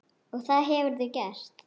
Og það hefurðu gert.